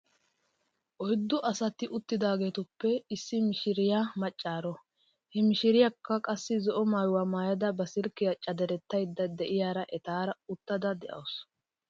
Oyddu asati uttidaageetuppe issi mishiriyaa maccaaro. He mishiriyaakka qassi zo'o maayuwaa maayada ba silkkiyaa caderettaydda de'iyaara etaara uttada de'awusu .